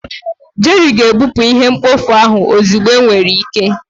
Jerry ga-ebupụ ihe mkpofu ahụ ozugbo enwere ike.